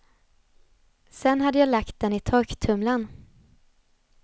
Sen hade jag lagt den i torktumlarn.